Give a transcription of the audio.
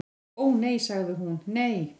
"""Ó, nei sagði hún, nei."""